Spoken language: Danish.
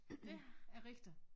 Dét er rigtigt